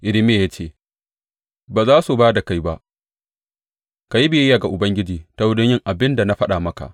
Irmiya ya ce, Ba za su ba da kai ba, ka yi biyayya ga Ubangiji ta wurin yin abin da na faɗa maka.